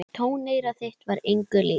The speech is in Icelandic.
Tóneyra þitt var engu líkt.